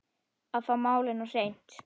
Að fá málin á hreint